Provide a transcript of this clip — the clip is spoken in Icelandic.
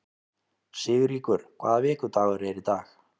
Sigríkur, hvaða vikudagur er í dag?